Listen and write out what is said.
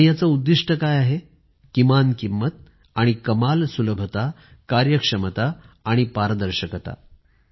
आणि याचं उद्दिष्ट काय आहे किमान किंमत आणि कमाल सुलभता कार्यक्षमता आणि पारदर्शकता